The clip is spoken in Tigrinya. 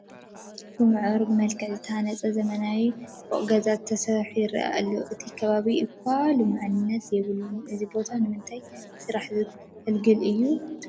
ብምዕሩግ መልክዕ ዝተሃነፀ ዘመናዊ ፎቕ ገዛ ተሰሪሑ ይረአ ኣሎ፡፡ እቲ ከባቢ እኳ ልሙዕነት የብሉን፡፡ እዚ ቦታ ንምንታይ ስራሕ ዘገልግል እዩ ትብሉ?